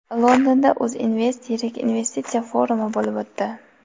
Londonda UzInvest yirik investitsiya forumi bo‘lib o‘tdi.